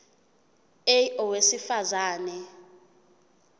a owesifaz ane